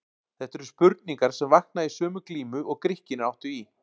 Þetta eru spurningar sem vakna í sömu glímu og Grikkirnir áttu í.